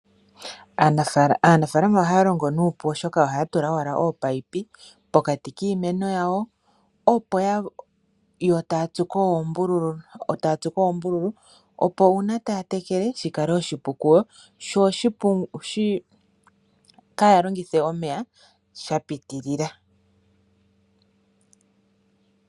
Aanafaalama ohaya longo nuupu oshoka ohaya tula oominino pokati kiimeno, etaya tsuko oombululu opo uuna taya tekele shikale oshipu kuyo, yo yaalongithe omeya shapiitilila.